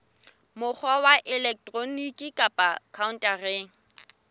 mokgwa wa elektroniki kapa khaontareng